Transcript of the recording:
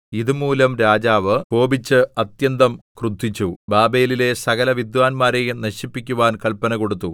ഇതു മൂലം രാജാവ് കോപിച്ച് അത്യന്തം ക്രുദ്ധിച്ചു ബാബേലിലെ സകലവിദ്വാന്മാരെയും നശിപ്പിക്കുവാൻ കല്പന കൊടുത്തു